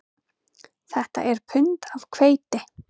Þetta er pund af hveiti